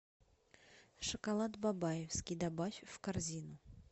шоколад бабаевский добавь в корзину